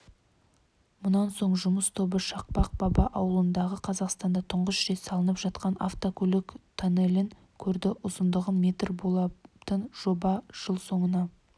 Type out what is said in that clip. мұнан соң жұмыс тобы шақпақ баба ауылындағы қазақстанда тұңғыш рет салынып жатқан автокөлік тоннелін көрді ұзындығы метр болатын жоба жыл соңына